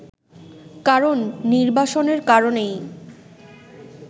কারণ নির্বাসনের কারণেই